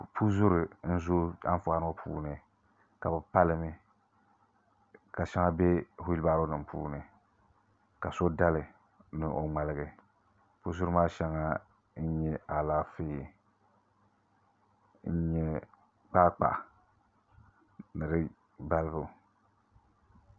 Puzuri n zooi Anfooni ŋo puuni ka bi pa limi ka shɛŋa bɛ whiilbaaro nim puuni ka so dali ni o ŋmaligi puzuri maa shɛŋa n nyɛ Alaafee ni kpaakpa ni di balibu